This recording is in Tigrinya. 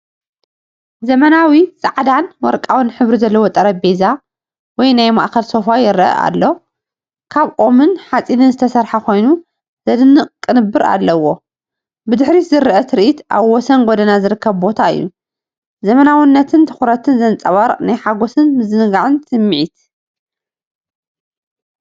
ዘመናዊ ጻዕዳን ወርቃውን ሕብሪ ዘለዎ ጠረጴዛ ወይ ናይ ማእኸል ሶፋ ይረአ ኣሎ። ካብ ኦም-ሓጺን ዝተሰርሐ ኮይኑ ዘደንቕ ቅንብር ኣለዎ። ብድሕሪት ዝረአ ትርኢት ኣብ ወሰን ጎደና ዝርከብ ቦታ እዩ። ዘመናዊነትን ትኹረትን ዘንጸባርቕ ናይ ሓጎስን ምዝንጋዕን ስምዒት።